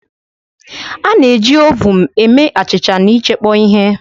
A na-eji ovuun eme achịcha na ịchekpọ ihe